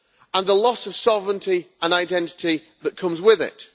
and the loss of sovereignty and identity that comes with it.